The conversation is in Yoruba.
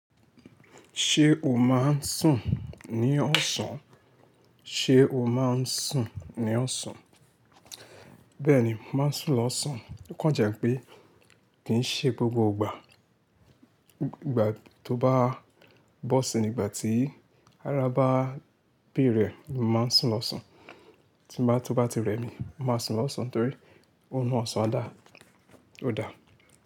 Ṣé o máa ń sùn ní ọ̀sán? Ṣé o máa ń sùn ní ọ̀sán? Bẹ́ẹ̀ni, máa ń sùn lọ́sàn. O kàn jẹ́ pé kì í ṣe gbogbo ìgbà. Ìgbà tó bá bọ́ sí i, ìgbà tí ara bá béèrè ẹ̀, mo máa ń sùn lọ́sàn. Tí bá tó bá ti rẹ̀ mí, mo máa sùn lọ́sàn torí órun ọ̀sán dà, ó da.